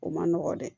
O man nɔgɔn dɛ